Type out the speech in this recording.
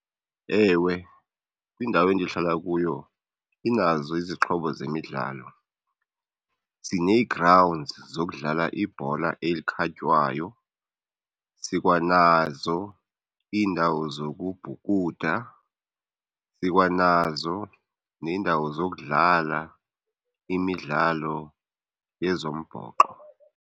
Ewe, kwindawo endihlala kuyo inazo izixhobo zemidlalo. Sinee-grounds zokudlala ibhola elikhatywayo, sikwanazo iindawo zokubhukuda, sikwanazo neendawo zokudlala imidlalo yezombhoxo.